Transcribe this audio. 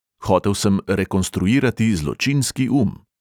Hotel sem rekonstruirati zločinski um.